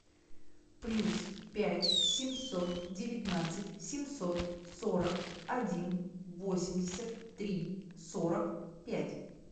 плюс пять семьсот девятнадцать семьсот сорок один восемьдесят три сорок пять